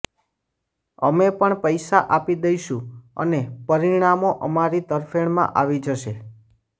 અમે પણ પૈસા આપી દઇશું અને પરિણામો અમારી તરફેણમાં આવી જશે